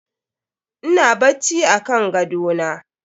Ina bacci akan gadona.